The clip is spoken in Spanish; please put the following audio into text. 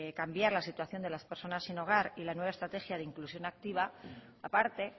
cambiar la situación de las personas sin hogar y la nueva estrategia de inclusión activa a parte